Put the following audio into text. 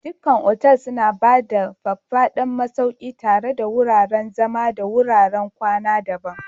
Duk otal suna ba da faffadan masauki tare da wuraren zama da wuraren kwana daban.